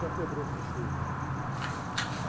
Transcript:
Já quebrou faz tempo.